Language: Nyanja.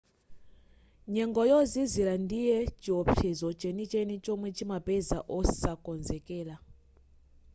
nyengo yozizira ndiye chiopsezo chenicheni chomwe chimapeza osakonzekera